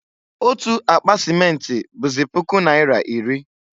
Otu akpa simenti bụzị puku naira iri.